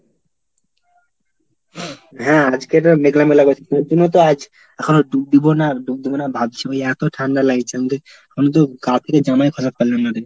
হ্যাঁ আজকের মেঘলা মেলা করছি, প্রতিদিনও তো আজ এখনও ডুব দিবো না ডুব দেবো না ভাবছি। ওই এত ঠান্ডা লাগছে, আমাদের আমি তো গা থেকে জামাই খোলা পারলাম না রে।